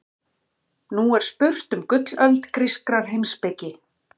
Nú er spurt um gullöld grískrar heimspeki.